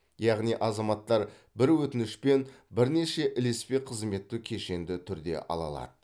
яғни азаматтар бір өтінішпен бірнеше ілеспе қызметті кешенді түрде ала алады